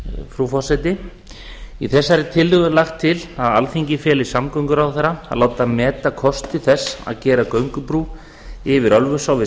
frú forseti í þessari tillögu er lagt til að alþingi feli samgönguráðherra að láta meta kosti þess að gera göngubrú yfir ölfusá við